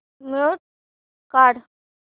mute काढ